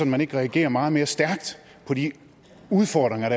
man ikke reagerer meget mere stærkt på de udfordringer